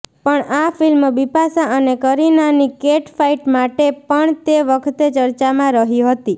પણ આ ફિલ્મ બિપાશા અને કરીનાની કેટફાઇટ માટે પણ તે વખતે ચર્ચામાં રહી હતી